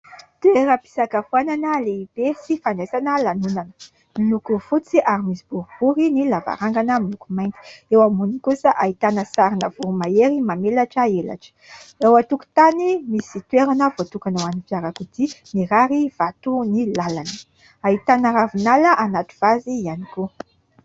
Toeram-pisakafoanana lehibe sy fandraisana lanonana. Miloko fotsy ary misy boribory, ny lavarangana miloko mainty. Eo amboniny kosa ahitana sarina voromahery mamelatra elatra. Eo an-tokotany misy toerana voatokana hoan'ny fiarakodia, mirarivato ny làlana. Ahitana ravinala anaty vazy ihany koa.